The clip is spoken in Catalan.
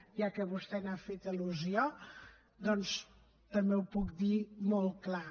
ja que vostè hi ha fet al·lusió doncs també ho puc dir molt clar